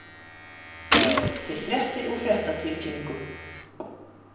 Býrð til fréttir úr fréttatilkynningum.